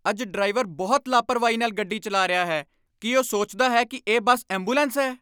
ਅੱਜ ਡਰਾਈਵਰ ਬਹੁਤ ਲਾਹਪ੍ਰਵਾਹੀ ਨਾਲ ਗੱਡੀ ਚਲਾ ਰਿਹਾ ਹੈ। ਕੀ ਉਹ ਸੋਚਦਾ ਹੈ ਕਿ ਇਹ ਬੱਸ ਐਂਬੂਲੈਂਸ ਹੈ?